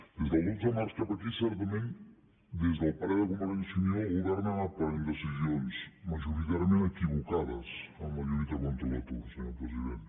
des del dotze de març cap aquí certament des del parer de convergència i unió el govern ha anat prenent decisions majoritàriament equivocades en la lluita contra l’atur senyor president